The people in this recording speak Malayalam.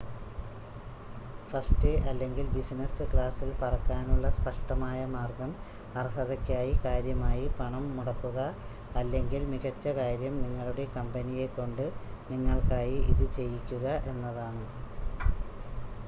ഫസ്റ്റ് അല്ലെങ്കിൽ ബിസിനസ് ക്ലാസിൽ പറക്കാനുള്ള സ്‌പഷ്‌ടമായ മാർഗ്ഗം അർഹതയ്ക്കായി കാര്യമായി പണം മുടക്കുക അല്ലെങ്കിൽ മികച്ച കാര്യം നിങ്ങളുടെ കമ്പനിയെ കൊണ്ട് നിങ്ങൾക്കായി ഇത് ചെയ്യിക്കുക എന്നതാണ്